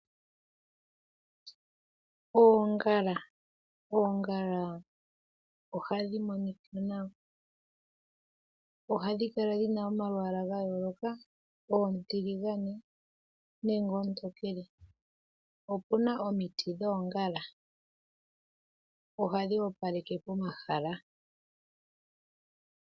Oongala! Oongala ohadhi monika nawa. Ohadhi kala dhina omalwaala ga yooloka, oontiligane nenge oontokele. Opuna omiti dhoongala. Ohadhi opaleke omahala.